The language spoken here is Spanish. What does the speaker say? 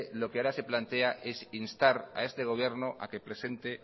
lo que ahora se plantea es instar a este gobierno a que presente